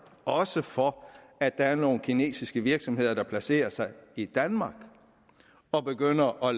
for at der er nogle kinesiske virksomheder der placerer sig i danmark og begynder at